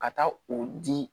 Ka taa o di